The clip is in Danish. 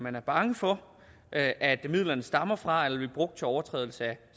at være bange for at at midlerne stammer fra eller vil blive brugt til overtrædelse af